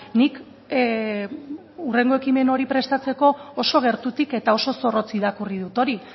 nik hurrengo ekimen hori prestatzeko oso gertutik eta oso zorrotz irakurri dut hori